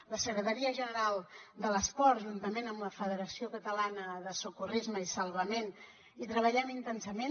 la secretaria general de l’esport juntament amb la federació catalana de salvament i socorrisme hi treballem intensament